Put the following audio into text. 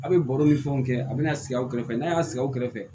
A bɛ baro ni fɛnw kɛ a bɛna sigi aw kɛrɛfɛ n'a y'a sigi aw kɛrɛfɛ